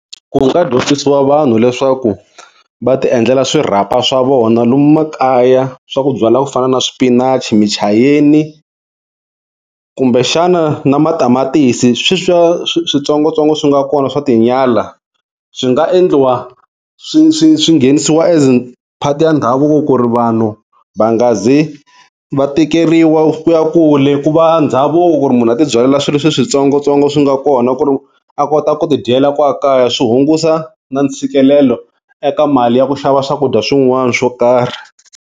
Ku nga dyondzisiwa vanhu leswaku va ti endlela swirhapa swa vona lomu makaya swa ku byala ku fana na swipinachi, muchayeni kumbe xana na matamatisi sweswiya switsongotsongo swi nga kona swa tinyala, swi nga endliwa swi swi swi nghenisiwa as part ya ndhavuko ku ri vanhu va nga zi va tikeriwa ku ya kule, ku va ndhavuko ku ri munhu a ti byalela swilo swi switsongotsongo swi nga kona ku ri a kota ku tidyela kwala kaya swi hungusa na ntshikelelo eka mali ya ku xava swakudya swin'wana swo karhi.